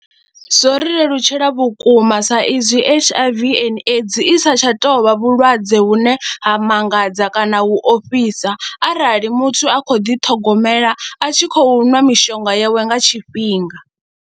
Zwo ri lelutshela vhukuma sa izwi H_I_V and AIDS i sa tsha touvha vhulwadze vhune ha mangadza kana u ofhisa arali muthu a khou ḓiṱhogomela a tshi khou nwa mishonga yawe nga tshifhinga.